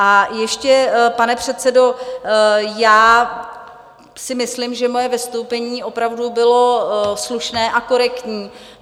A ještě, pane předsedo, já si myslím, že moje vystoupení opravdu bylo slušné a korektní.